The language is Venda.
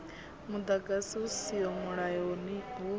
muḓagasi hu siho mulayoni hu